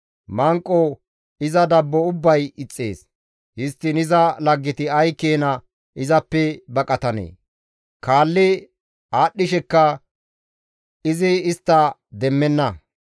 Manqo iza dabbo ubbay ixxees; histtiin iza laggeti ay keena izappe baqatanee! Kaalli aadashidikka izi istta demmenna.